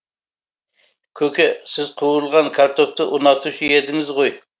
көке сіз қуырылған картопты ұнатушы едіңіз ғой